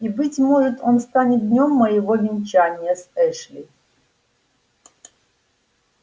и быть может он станет днём моего венчания с эшли